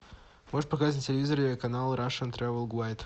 можешь показать на телевизоре канал рашен трэвел гуайд